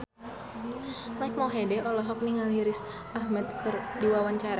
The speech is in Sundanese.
Mike Mohede olohok ningali Riz Ahmed keur diwawancara